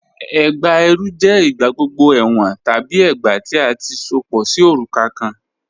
Ẹgbá ẹrú jẹ igbàgbọ̀gbọ̀ ẹwọn tabi ẹgbá tí a ti sopọ sí orúkà̀ kàn.